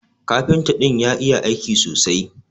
Kafinta din ya iya aiki sosai.